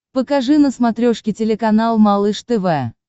покажи на смотрешке телеканал малыш тв